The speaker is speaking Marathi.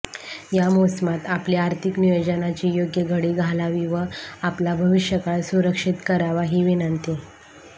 या मोसमात आपली आर्थिक नियोजनाची योग्य घडी घालावी व आपला भविष्यकाळ सुरक्षित करावा ही विनंती